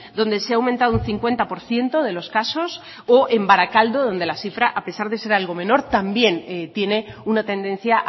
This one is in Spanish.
donde se ha aumentado un cincuenta por ciento de los casos o en barakaldo donde la cifra a pesar de ser algo menor también tiene una tendencia